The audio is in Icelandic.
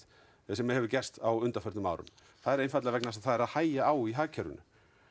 sem hefur gerst á undanförnum árum það er einfaldlega vegna þess að það er að hægja á í hagkerfinu